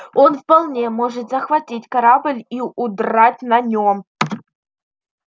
он вполне может захватить корабль и удрать на нем